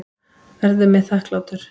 Verður mér þakklátur.